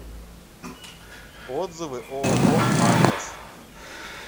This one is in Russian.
отзывы ооо атлас